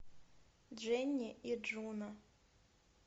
дженни и джуно